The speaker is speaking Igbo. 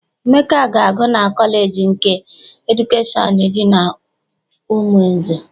Emeka na-agụ na kọleji nke edukeshọn dị n'Umunze.